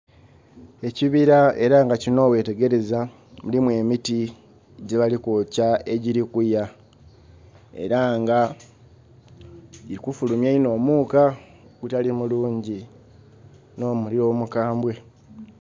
Ekibira era nga kino wewetegereza mulimu emiti gye balikwokya egiri kuya era nga giri kufulumya inho omuuka ogutali mulungi no muliro mukambwe.